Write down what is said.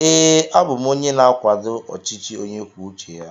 Ee, a bụ m onye na-akwado ọchịchị onye kwuo uche ya.